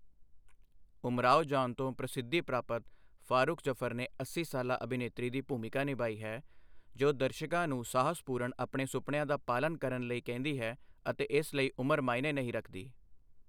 ਉਮਰਾਵ ਜਾਨ ਤੋਂ ਪ੍ਰਸਿੱਧੀ ਪ੍ਰਾਪਤ ਫਾਰੁਖ ਜਫਰ ਨੇ ਅੱਸੀ ਸਾਲਾ ਅਭਿਨੇਤਰੀ ਦੀ ਭੂਮਿਕਾ ਨਿਭਾਈ ਹੈ ਜੋ ਦਰਸ਼ਕਾਂ ਨੂੰ ਸਾਹਸਪੂਰਨ ਆਪਣੇ ਸੁਪਨਿਆਂ ਦਾ ਪਾਲਨ ਕਰਨ ਲਈ ਕਹਿੰਦੀ ਹੈ ਅਤੇ ਇਸ ਲਈ ਉਮਰ ਮਾਅਨੇ ਨਹੀਂ ਰੱਖਦੀ।